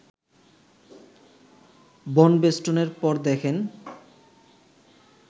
বনবেষ্টনের পর দেখেন